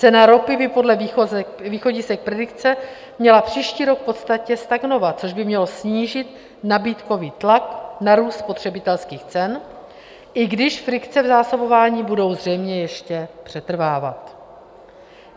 Cena ropy by podle východisek predikce měla příští rok v podstatě stagnovat, což by mělo snížit nabídkový tlak na růst spotřebitelských cen, i když frikce v zásobování budou zřejmě ještě přetrvávat.